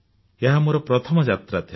ଏହା ମୋର ପ୍ରଥମ ଯାତ୍ରା ଥିଲା